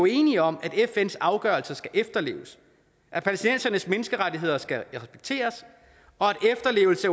enige om at fns afgørelser skal efterleves at palæstinensernes menneskerettigheder skal respekteres og at efterlevelse